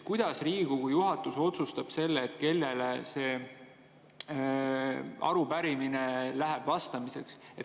Kuidas Riigikogu juhatus otsustab selle, kellele see arupärimine vastamiseks läheb?